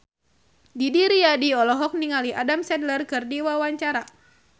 Didi Riyadi olohok ningali Adam Sandler keur diwawancara